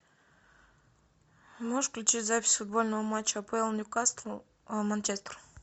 можешь включить запись футбольного матча апл ньюкасл манчестер